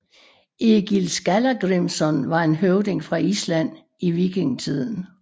Egill Skallagrimsson var en høvding fra Island i vikingetiden